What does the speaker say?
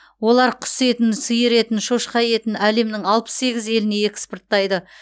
олар құс етін сиыр етін шошқа етін әлемнің алпыс сегіз еліне экспорттайды